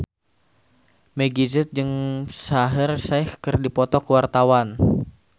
Meggie Z jeung Shaheer Sheikh keur dipoto ku wartawan